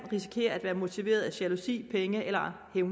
være motiveret af jalousi penge eller et